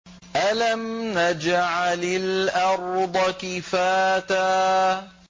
أَلَمْ نَجْعَلِ الْأَرْضَ كِفَاتًا